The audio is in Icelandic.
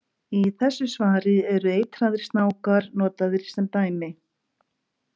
Í þessu svari eru eitraðir snákar notaðir sem dæmi.